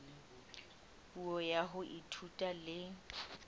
puo ya ho ithuta le